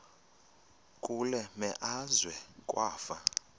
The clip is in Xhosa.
kule meazwe kwafa